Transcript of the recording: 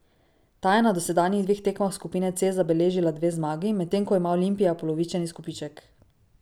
Ta je na dosedanjih dveh tekmah skupine C zabeležila dve zmagi, medtem ko ima Olimpija polovičen izkupiček.